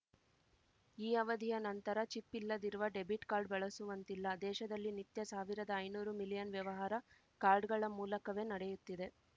ಈ ಅವಧಿಯ ನಂತರ ಚಿಪ್‌ ಇಲ್ಲದಿರುವ ಡೆಬಿಟ್‌ ಕಾರ್ಡ್‌ ಬಳಸುವಂತಿಲ್ಲ ದೇಶದಲ್ಲಿ ನಿತ್ಯ ಸಾವಿರದಾ ಐನೂರು ಮಿಲಿಯನ್‌ ವ್ಯವಹಾರ ಕಾರ್ಡ್‌ಗಳ ಮೂಲಕವೇ ನಡೆಯುತ್ತಿದೆ